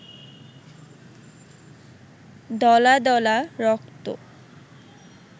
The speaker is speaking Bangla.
দলা দলা রক্ত